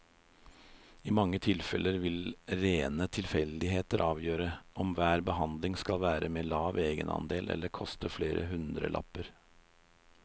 I mange tilfeller vil rene tilfeldigheter avgjøre om hver behandling skal være med lav egenandel eller koste flere hundrelapper.